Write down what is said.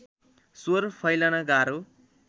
स्वर फैलन गाह्रो